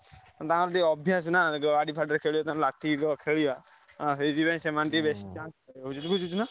ତାଙ୍କର ଟିକେ ଅଭ୍ୟାସ ନା ଗାଡି ଫାଡି ରେ ଖେଳିବା ଲାଠି ହେଇଯାଇଥିବ ଖେଳିବା ସେଇଥିପାଇଁ ସେମାନେ।